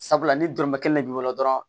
Sabula ni dɔrɔmɛ kelen de b'i bolo dɔrɔn